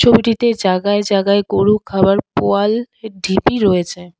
ছবিটিতে জাগায় জাগায় গরু খাবার পোয়াল ঢিপি রয়েছে।